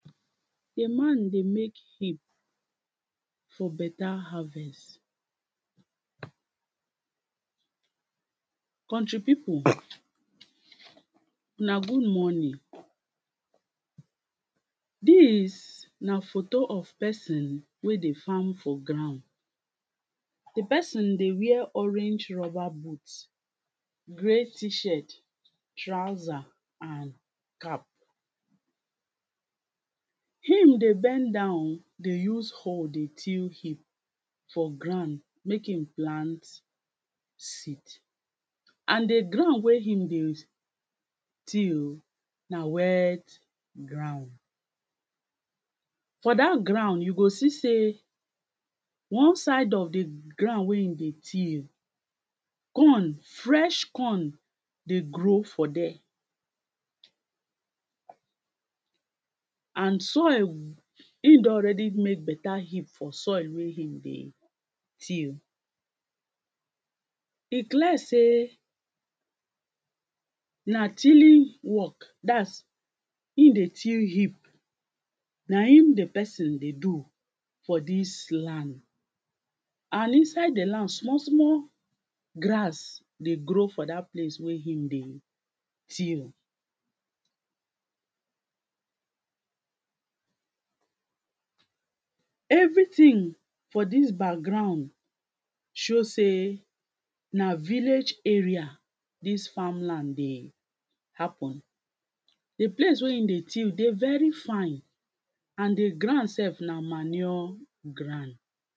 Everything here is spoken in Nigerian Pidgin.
A man dey make heap for better harvest, country people una good morning. Dis na photo of person wen dey farm for ground, di person dey wear orange rubber booth, gray t-shirt, trouser and cap. Him dey bend down, dey use hole dey till heap for ground, make im plant seed. seed And di ground wey im dey till na wet ground. For dat ground you go see sey, one side of di ground wey im dey till, corn, fresh corn, dey grow for there. And soil, im don ready make better heap for soil wen im dey till, e clear sey, na tilling work, dats im dey till heap, na im di person dey do for dis land. And inside di land, small small grass dey grow for dat place wen I dey till. Everything for dis background show sey na village area dis farm land dey happen. Di place wen im dey till dey very fine, and di ground sef na manure ground.